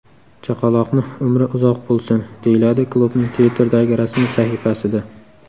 Chaqaloqni umri uzoq bo‘lsin”, deyiladi klubning Twitter’dagi rasmiy sahifasida.